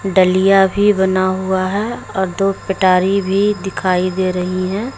डलिया भी बना हुआ है और दो पिटारी भी दिखाई दे रही है।